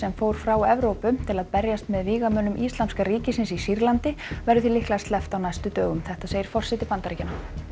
fór frá Evrópu til að berjast með vígamönnum Íslamska ríkisins í Sýrlandi verður því líklega sleppt á næstu dögum þetta segir forseti Bandaríkjanna